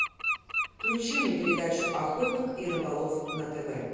включи мне передачу охотник и рыболов на тв